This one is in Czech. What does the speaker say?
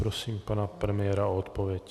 Prosím pana premiéra o odpověď.